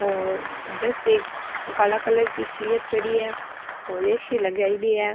ओ दस एक ये काला कलर की चेअर पड़ी है और ए.सी. लगाई डी है।